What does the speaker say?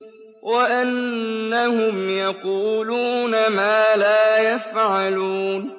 وَأَنَّهُمْ يَقُولُونَ مَا لَا يَفْعَلُونَ